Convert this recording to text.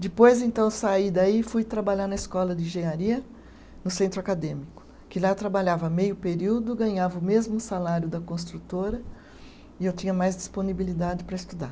Depois, então, saí daí e fui trabalhar na escola de engenharia, no centro acadêmico, que lá eu trabalhava meio período, ganhava o mesmo salário da construtora e eu tinha mais disponibilidade para estudar.